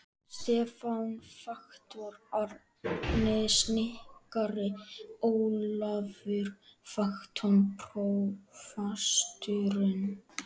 Stefán faktor, Árni snikkari, Ólafur faktor, prófasturinn.